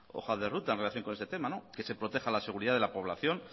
hoja de ruta en relación con este tema que se proteja la seguridad de la población